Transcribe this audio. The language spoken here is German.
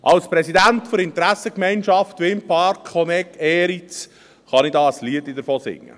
Als Präsident der Interessengemeinschaft Windpark Honegg, Eriz, kann ich ein Liedchen davon singen.